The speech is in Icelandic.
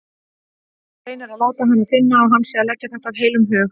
Reynir að láta hana finna að hann sé að segja þetta af heilum hug.